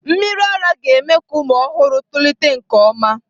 Mmiri ara ara ga-eme ka ụmụ ọhụrụ tolite nke ọma.